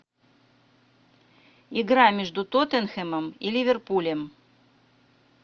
игра между тоттенхэмом и ливерпулем